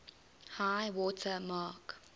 high water mark